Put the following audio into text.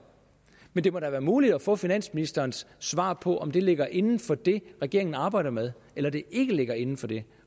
det må da være muligt at få finansministerens svar på om det ligger inden for det regeringen arbejder med eller om det ikke ligger inden for det